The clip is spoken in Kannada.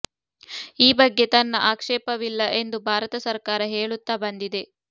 ಈ ಬಗ್ಗೆ ತನ್ನ ಆಕ್ಷೇಪವಿಲ್ಲ ಎಂದು ಭಾರತ ಸರಕಾರ ಹೇಳುತ್ತಾ ಬಂದಿದೆ